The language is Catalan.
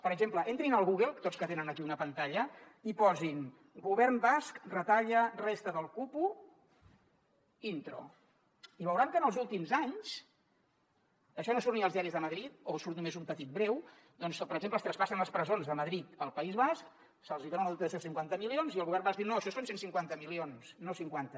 per exemple entrin al google tots que tenen aquí una pantalla i posin govern basc retalla resta del cupo intro i veuran que en els últims anys això no surt ni als diaris de madrid o surt només un petit breu doncs per exemple es traspassen les presons de madrid al país basc se’ls hi dona una dotació de cinquanta milions i el govern basc diu no això són cent i cinquanta milions no cinquanta